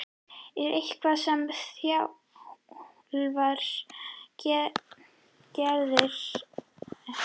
Er eitthvað sem þjálfarinn gerir á ákveðnum tímapunktum í leiknum?